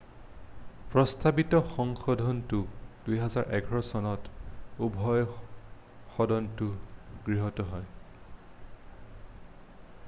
প্ৰস্তাৱিত সংশোধনটো 2011 চনত উভয় সদনতে গৃহীত হয়